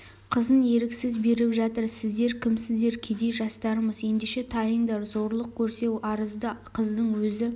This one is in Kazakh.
қызын еріксіз беріп жатыр сіздер кімсіздер кедей жастармыз ендеше тайыңдар зорлық көрсе арызды қыздың өзі